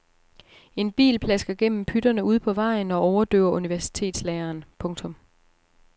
En bil plasker gennem pytterne ude på vejen og overdøver universitetslæreren. punktum